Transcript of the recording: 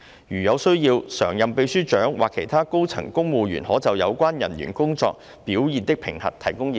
如有需要，常任秘書長或其他高層公務員可就有關人員工作表現的評核，提供意見。